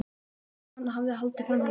Hvernig hann hafði haldið framhjá mér.